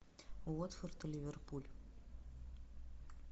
уотфорд и ливерпуль